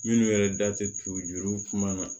Minnu yɛrɛ da tɛ turu juru kuma na